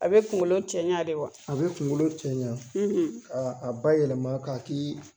A bɛ kunkolo cɛɲan de wa? A bɛ kunkolo cɛɲan; ; Ka a ba yɛlɛma ka